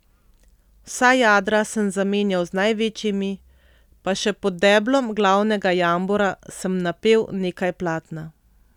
Vsa jadra sem zamenjal z največjimi, pa še pod deblom glavnega jambora sem napel nekaj platna.